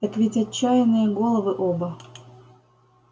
так ведь отчаянные головы оба